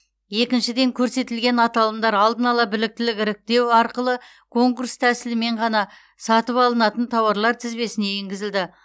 екіншіден көрсетілген аталымдар алдын ала біліктілік іріктеу арқылы конкурс тәсілімен ғана сатып алынатын тауарлар тізбесіне енгізілді